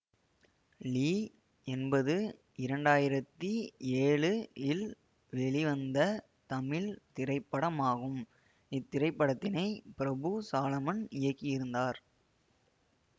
லீ என்பது இரண்டாயிரத்தி ஏழு வெளிவந்த தமிழ் திரைப்படமாகும் இத்திரைப்படத்தினை பிரபு சாலமன் இயக்கியிருந்தார்